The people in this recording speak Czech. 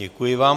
Děkuji vám.